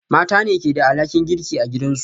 Mata ne ke da alhakin girki a gidansu